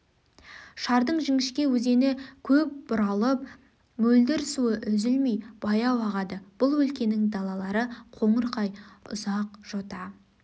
шардың жіңішке өзені көп бұралып мөлдір суы үзілмей баяу ағады бұл өлкенің далалары қоңырқай үзақ жота